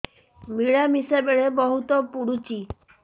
ମିଳାମିଶା ବେଳେ ବହୁତ ପୁଡୁଚି